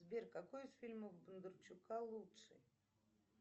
сбер какой из фильмов бондарчука лучше